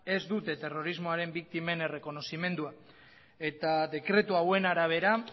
ez dute terrorismoaren biktimen errekonozimendua eta dekretu hauen arabera